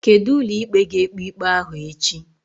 Kedu ụlọikpe ga-ekpe ikpe ahụ echi?